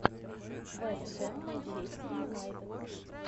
вест хэм манчестер юнайтед